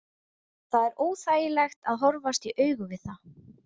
Það er óþægilegt að horfast í augu við það.